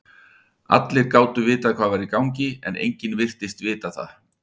Allir gátu vitað hvað var í gangi, en enginn virtist vita það.